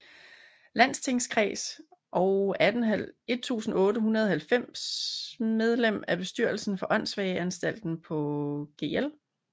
Landstingskreds og 1890 medlem af bestyrelsen for Åndssvageanstalten på Gl